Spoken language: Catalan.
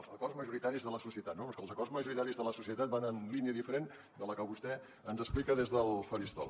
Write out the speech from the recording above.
els acords majoritaris de la societat no però és que els acords majoritaris de la societat van en una línia diferent de la que vostè ens explica des del faristol